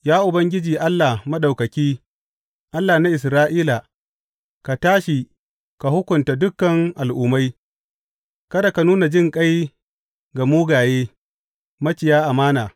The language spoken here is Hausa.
Ya Ubangiji Allah Maɗaukaki, Allah na Isra’ila, ka tashi ka hukunta dukan al’ummai; kada ka nuna jinƙai ga mugaye maciya amana.